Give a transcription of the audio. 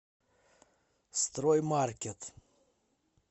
строймаркет